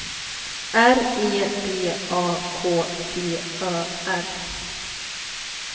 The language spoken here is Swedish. R E D A K T Ö R